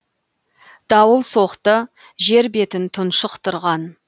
дауыл соқты жер бетін тұншықтырған